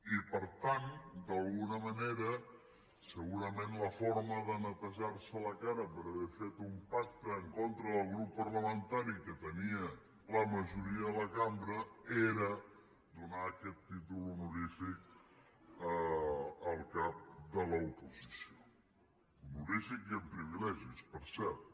i per tant d’alguna manera segurament la forma de netejar se la cara per haver fet un pacte en contra del grup parlamentari que tenia la majoria de la cambra era donar aquest títol honorífic al cap de l’oposició honorífic i amb privilegis per cert